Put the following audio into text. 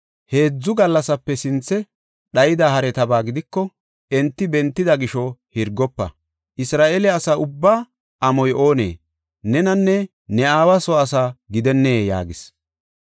Heedzu gallasape sinthe dhayida haretaba gidiko enti bentida gisho hirgofa. Isra7eele asa ubbaa amoy oonee? Nenanne ne aawa soo asaa gidennee?” yaagis.